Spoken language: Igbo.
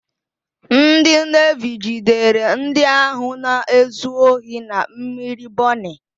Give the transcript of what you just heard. Ndị Nevi jidere ndị ahụ na-ezu ohi na mmiri Bọnị.